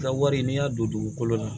Ka wari n'i y'a don dugukolo la